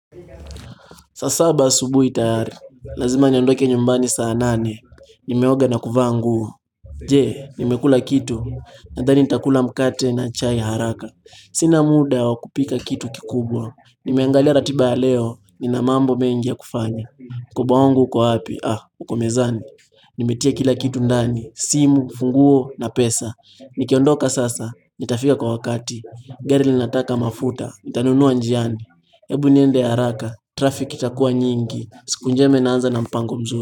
Saa saba asubuhi tayari, lazima niondoke nyumbani saa nane, nimeoga na kuvaa nguo. Je, nimekula kitu, nadhani nitakula mkate na chai haraka. Sina muda wa kupika kitu kikubwa, nimeangalia ratiba ya leo, nina mambo mengi ya kufanya. Mkoba wangu uko wapi, ah, uko mezani. Nimetia kila kitu ndani, simu, funguo na pesa. Nikiondoka sasa, nitafika kwa wakati, gari linataka mafuta, nitanunua njiani. Ebu niende haraka, traffic itakua nyingi, siku njema inaanza na mpango mzuri.